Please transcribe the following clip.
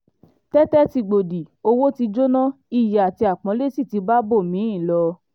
tètè tí gbòdì owó tí jóná iyì àti àpọ́nlé sí ti bá ibòmí-ì ń lọ